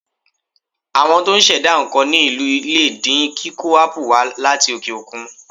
Àwọn tó ń ṣẹ̀dá nǹkan ní ìlú lè dín kíkó ápù wà á láti òkè òkun.